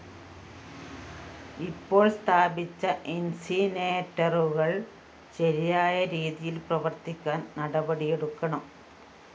ഇപ്പോള്‍ സ്ഥാപിച്ച ഇന്‍സിനേറ്ററുകള്‍ ശരിയായ രീതിയില്‍ പ്രവര്‍ത്തിക്കാന്‍ നടപടിയെടുക്കണം